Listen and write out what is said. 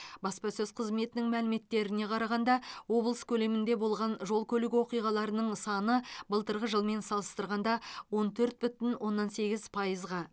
баспасөз қызметінің мәліметтеріне қарағанда облыс көлемінде болған жол көлік оқиғаларының саны былтырғы жылмен салыстырғанда он төрт бүтін оннан сегіз пайызға